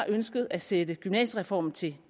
ønsket at sætte gymnasiereformen til